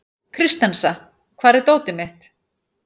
Kristensa, hvar er dótið mitt?